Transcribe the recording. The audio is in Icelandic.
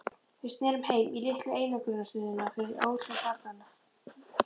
Við snerum heim- í litlu einangrunarstöðina fyrir óhljóð barna.